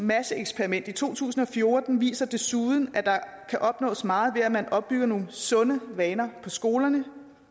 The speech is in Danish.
masseeksperiment i to tusind og fjorten viser desuden at der kan opnås meget ved at man opbygger nogle sunde vaner på skolerne